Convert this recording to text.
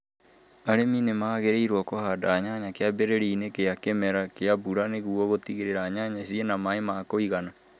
Arĩmi nĩ magĩrĩirũo kũhanda nyanya kĩambĩrĩria-ini kĩa kĩmera kĩa mbura nĩguo gũtigĩrĩre nyanya ciĩna na maĩ ma kũigana.